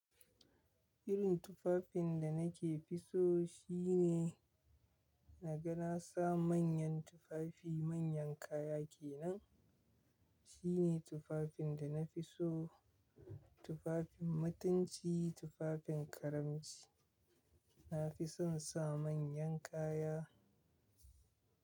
Irin tufafin da nake fi so shine na ga na sa manyan Tufafi, manyan kaya kenan. Shine Tufafin da na fi so. Tufafin mutunci, Tufafin karamci. Na fi son sa manyan kaya.